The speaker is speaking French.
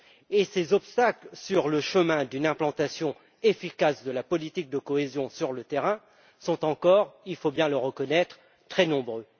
et ces obstacles sur le chemin d'une mise en œuvre efficace de la politique de cohésion sur le terrain sont encore, il faut bien le reconnaître, très nombreux.